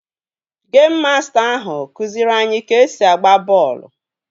Geim masta ahụ kụziiri anyị ka-esi agba bọọlụ